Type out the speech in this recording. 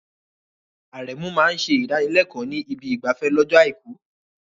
Aremeu máa ń ṣe ìdánilẹ́kọ̀ọ́ ní ibi ìgbafẹ́ lọ́jọ́ Àìkú.